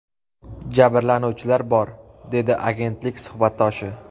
Jabrlanuvchilar bor”, dedi agentlik suhbatdoshi.